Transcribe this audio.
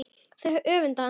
Þau öfunda hana.